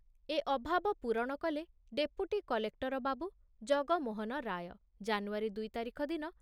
ଏ ଅଭାବ ପୂରଣ କଲେ ଡେପୁଟି କଲେକ୍ଟର ବାବୁ ଜଗମୋହନ ରାୟ ଜାନୁଆରୀ ଦୁଇ ତାରିଖ ଦିନ